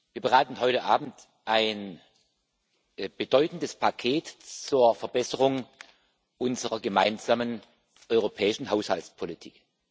Wir beraten heute Abend ein bedeutendes Paket zur Verbesserung unserer gemeinsamen europäischen Haushaltspolitik.